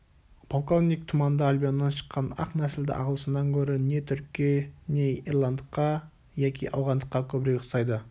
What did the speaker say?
полковник тұманды альбионнан шыққан ақ нәсілді ағылшыннан гөрі не түрікке не ирландыққа яки ауғандыққа көбірек ұқсайды